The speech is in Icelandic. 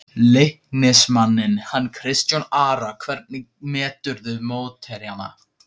Leiknismanninn hann Kristján Ara Hvernig meturðu mótherjana?